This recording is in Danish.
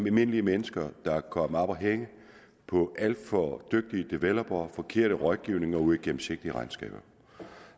almindelige mennesker der er kommet op at hænge på alt for dygtige developere forkert rådgivning og uigennemsigtige regnskaber